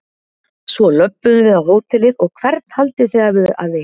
Svo löbbuðu við um hótelið og hvern haldið þið að við hafi hitt?